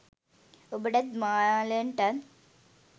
ඔබටත් මාලන්ටත්